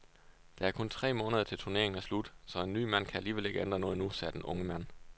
Der er kun tre måneder til turneringen er slut, så en ny mand kan alligevel ikke ændre noget nu, sagde den unge mand.